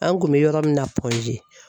An kun mɛ yɔrɔ min na